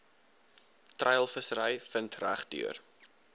treilvissery vind regdeur